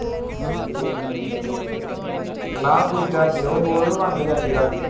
ਨਾ ਦੂਜਾ ਸੀ ਉਹ ਵੀ ਨੰਗ ਜਾ ਸੀ